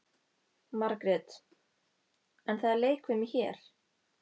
Margrét: En það er leikfimi hér.